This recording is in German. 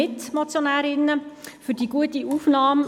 Ich hoffe, Sie haben gut gespeist.